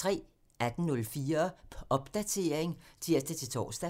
18:04: Popdatering (tir-tor)